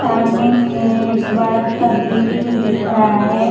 सामने में एक बड़ा सा बिल्डिंग दिख रहा है।